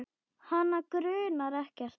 Hana grunar ekkert.